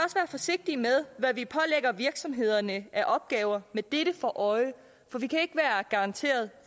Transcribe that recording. forsigtige med hvad vi pålægger virksomhederne af opgaver med dette for øje for vi kan ikke være garanteret